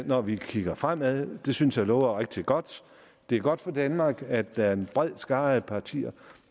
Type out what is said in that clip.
når vi kigger fremad det synes jeg lover rigtig godt det er godt for danmark at der er en bred skare af partier